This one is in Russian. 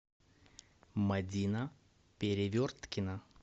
мадина переверткина